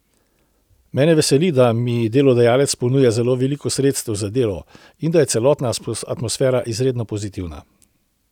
Mene veseli, da mi delodajalec ponuja zelo veliko sredstev za delo in da je celotna atmosfera izredno pozitivna.